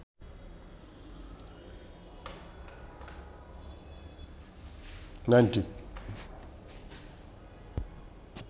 nightie